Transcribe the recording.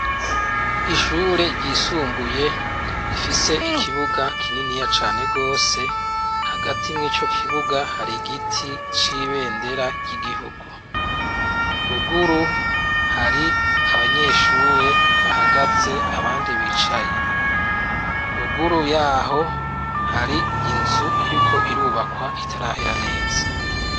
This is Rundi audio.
Ishure ryisumbuye rifise ikibuga kininiya cane rwose hagati mw'ico kibuga hari igiti c'ibendera ry'igihugu. Ruguru hari abanyeshure bahagaze abandi bicaye. Ruguru yaho hari inzu iriko irubakwa itarahera neza.